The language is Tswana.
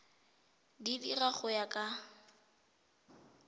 di dira go ya ka